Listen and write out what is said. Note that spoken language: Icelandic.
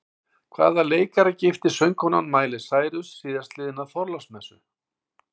Hvaða leikara giftist söngkonan Miley Cyrus síðastliðna þorláksmessu?